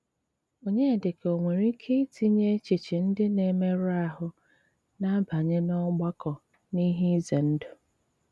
Ọnyédíkà o nwéré íké ítìnyé échéchè ndí ná-émérù áhụ́ ná-àbánye n’ọ́gbàkọ́ n’íhé ízé ndụ́?